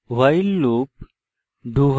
while loop